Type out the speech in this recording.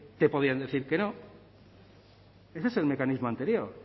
te podían decir que no ese es el mecanismo anterior